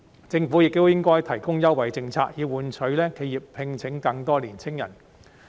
政府亦應該提供優惠政策，以換取企業聘請更多青年人。